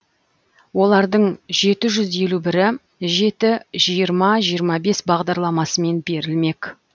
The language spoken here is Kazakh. олардың жеті жүз елу бірі жеті жиырма жиырма бес бағдарламасымен берілмек